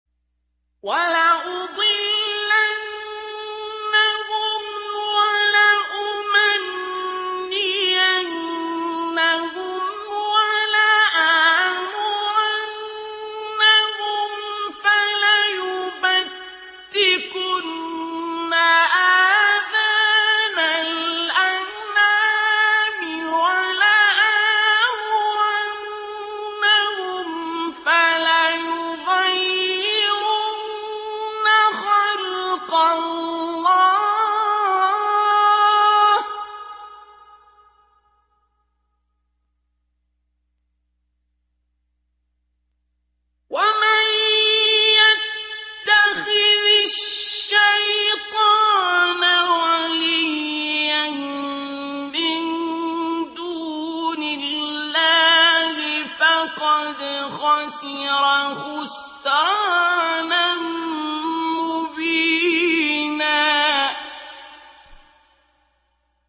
وَلَأُضِلَّنَّهُمْ وَلَأُمَنِّيَنَّهُمْ وَلَآمُرَنَّهُمْ فَلَيُبَتِّكُنَّ آذَانَ الْأَنْعَامِ وَلَآمُرَنَّهُمْ فَلَيُغَيِّرُنَّ خَلْقَ اللَّهِ ۚ وَمَن يَتَّخِذِ الشَّيْطَانَ وَلِيًّا مِّن دُونِ اللَّهِ فَقَدْ خَسِرَ خُسْرَانًا مُّبِينًا